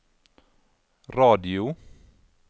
radio